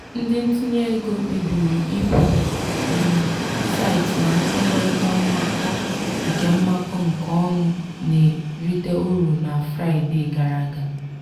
ndị ntinye ego kpebiri ịpụ um site na nkwekọrịta mmakọ nke mmakọ nke ọnụ na-erite uru na fraịdee gara aga.